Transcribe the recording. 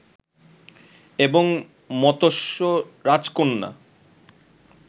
এবং মতস্য রাজকন্যা